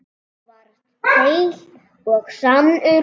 Þú varst heill og sannur.